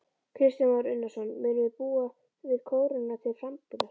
Kristján Már Unnarsson: Munum við búa við krónuna til frambúðar?